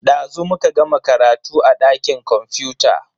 Dazu muka gama karatu a dakin kwamfuta.